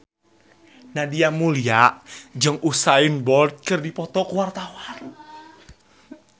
Nadia Mulya jeung Usain Bolt keur dipoto ku wartawan